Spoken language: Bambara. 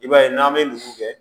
I b'a ye n'an bɛ dugu kɛ